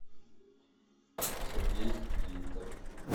сергей гинтер